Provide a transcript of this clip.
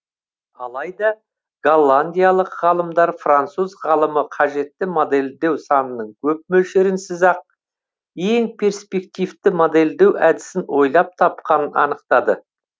алайда голландиялық ғалымдар француз ғалымы қажетті модельдеу санының көп мөлшерінсіз ақ ең перспективті модельдеу әдісін ойлап тапқанын анықтады